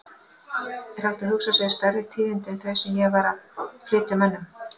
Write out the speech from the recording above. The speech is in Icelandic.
Er hægt að hugsa sér stærri tíðindi en þau sem ég var að flytja mönnum?!